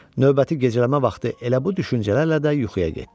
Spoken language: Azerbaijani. Növbəti gecələmə vaxtı elə bu düşüncələrlə də yuxuya getdi.